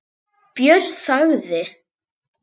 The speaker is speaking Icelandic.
Björn þagði.